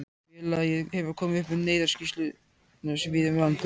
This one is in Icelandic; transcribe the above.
Félagið hefur komið upp neyðarskýlum víða um landið.